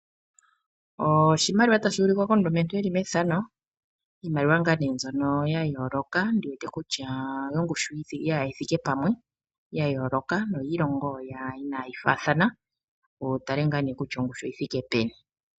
Oshimaliwa tashi ulikwa komulumentu eli methano, iimaliwa mbyono ya yooloka noyiilongo inaayi faathana wu tale kutya ongushu oyi thike peni.